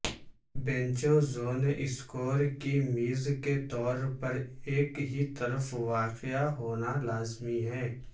بینچوں zone scorer کی میز کے طور پر ایک ہی طرف واقع ہونا لازمی ہے